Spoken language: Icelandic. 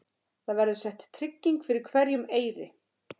Það verður sett trygging fyrir hverjum eyri.